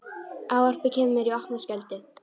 Ávarpið kemur mér í opna skjöldu.